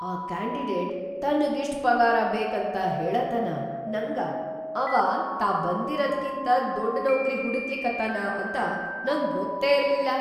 ಆ ಕ್ಯಾಂಡಿಡೇಟ್‌ ತನ್ಗಿಷ್ಟ್ ಪಗಾರ ಬೇಕಂತ ಹೇಳತನಾ ನಂಗ, ಅವಾ ತಾ ಬಂದಿರದ್ಕಿಂತ ದೊಡ್‌ ನೌಕ್ರಿ ಹುಡಕ್ಲಿಕತ್ತಾನ ಅಂತ ನಂಗ ಗೊತ್ತೇ ಇರ್ಲಿಲ್ಲಾ.